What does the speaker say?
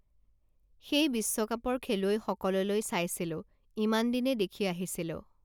সেই বিশ্বকাপৰ খেলুৱৈসকললৈ চাইছিলোঁ ইমানদিনে দেখি আহিছিলোঁ